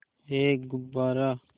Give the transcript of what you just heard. एक गुब्बारा